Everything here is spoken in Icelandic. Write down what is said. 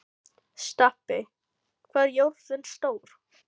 Stapi, hvað er jörðin stór?